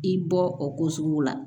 I bɔ o ko suguw la